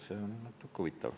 See on natuke huvitav.